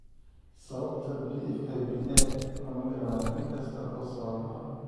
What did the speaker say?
Sababta PFAPA lama garanayo, in kasta oo sababaha fayraska ama difaaca jirka la soo jeediyay.